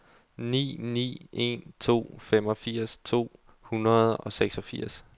ni ni en to femogfirs to hundrede og seksogfirs